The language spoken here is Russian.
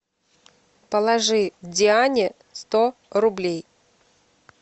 положи диане сто рублей